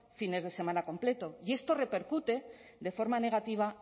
fines de semana completos y esto repercute de forma negativa